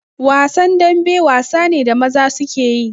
Wasan dambe wasa ne da maza suke yi